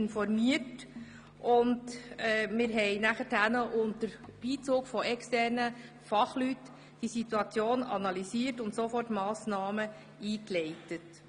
Wir haben diese Situation unter Beizug externer Fachleute analysiert und Massnahmen eingeleitet.